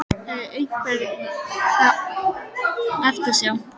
Hef ég einhverja eftirsjá?